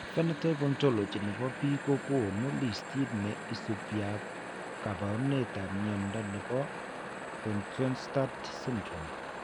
Phenotype Ontology ne po biik ko konu listiit ne isubiap kaabarunetap mnyando ne po Bjornstad syndrome.